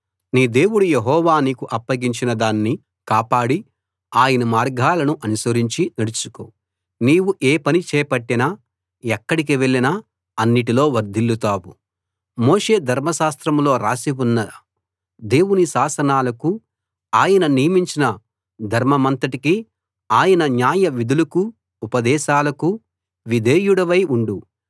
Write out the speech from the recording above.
నీ దేవుడు యెహోవా నీకు అప్పగించిన దాన్ని కాపాడి ఆయన మార్గాలను అనుసరించి నడుచుకో నీవు ఏ పని చేపట్టినా ఎక్కడికి వెళ్ళినా అన్నిటిలో వర్దిల్లుతావు మోషే ధర్మశాస్త్రంలో రాసి ఉన్న దేవుని శాసనాలకూ ఆయన నియమించిన ధర్మమంతటికీ ఆయన న్యాయవిధులకూ ఉపదేశాలకూ విధేయుడివై ఉండు